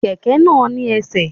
Kẹkẹ náà ni ẹsẹ̀.